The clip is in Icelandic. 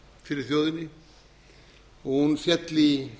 fyrir þjóðinni og hún féll í